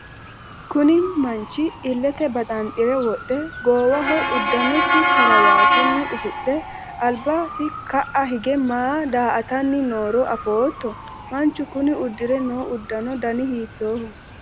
kuni manchi illete baxanxure wodhe, goowaho uddanosi karawaatunni usudhe albasi ka'a hige maa daa''atanni nooro afootto? manchu kuni uddire noo uddano dani hiittooho?